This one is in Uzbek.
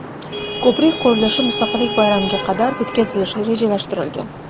Ko‘prik qurilishi Mustaqillik bayramiga qadar bitkazilishi rejalashtirilgan.